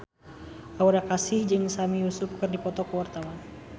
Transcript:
Aura Kasih jeung Sami Yusuf keur dipoto ku wartawan